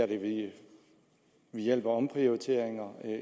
ved hjælp af omprioriteringer